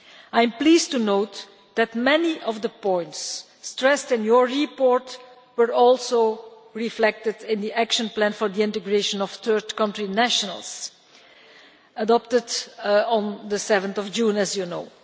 I am pleased to note that many of the points stressed in your report were also reflected in the Action Plan on Integration of Third Country Nationals, adopted on 7 June, as you know.